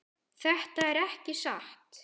Þetta er ekki satt.